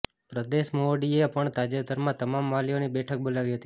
પ્રદેશ મોવડીએ પણ તાજેતરમાં તમામ વાલીઓની બેઠક બોલાવી હતી